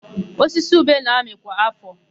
Osisi ube na-amị kwa áfọ̀.